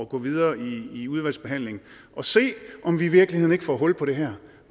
gå videre i udvalgsbehandlingen og se om vi i virkeligheden ikke kunne få hul på det her